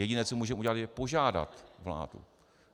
Jediné, co můžeme udělat, je požádat vládu...